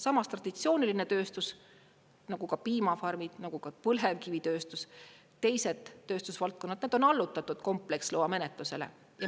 Samas traditsiooniline tööstus, nagu ka piimafarmid, nagu ka põlevkivitööstus, teised tööstusvaldkonnad, need on allutatud kompleksloa menetlusele.